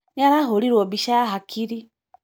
Nĩ arahũrirwo bica ya hakiri.